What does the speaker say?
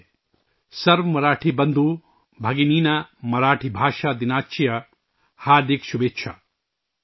'' سَرو مراٹھی بندھو بھگی نینا مراٹھی بھاشا دِناچیا ہاردِک شوبھیچھا ''